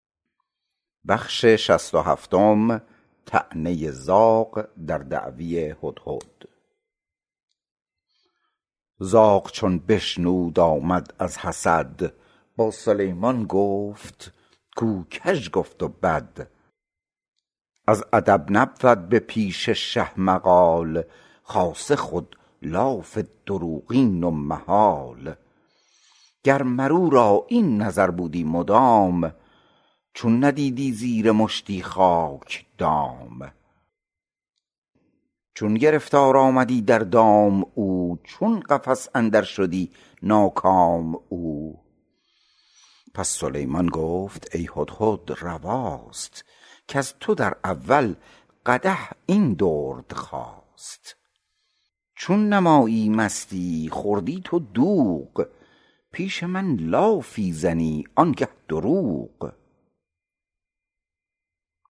زاغ چون بشنود آمد از حسد با سلیمان گفت کو کژ گفت و بد از ادب نبود به پیش شه مقال خاصه خودلاف دروغین و محال گر مر او را این نظر بودی مدام چون ندیدی زیر مشتی خاک دام چون گرفتار آمدی در دام او چون قفس اندر شدی ناکام او پس سلیمان گفت ای هدهد رواست کز تو در اول قدح این درد خاست چون نمایی مستی ای خورده تو دوغ پیش من لافی زنی آنگه دروغ